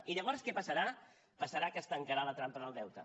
i llavors què passarà passarà que es tancarà la trampa del deute